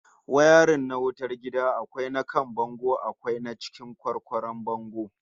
Wayarin na wutar gida akwai na kan bango akwai na cikin kwarkwaron bango